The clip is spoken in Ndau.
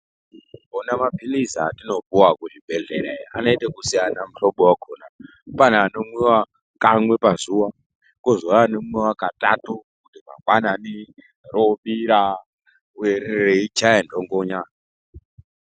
Ona maphilizi atinopuwa kuzvibhehlerayo anoite ekusiyana muhlobo wakona. Pane anomwiwa kamwe pazuva, kozouya anomwiwa katatu, kuti mangwanani roobira, reichaye nhongonya.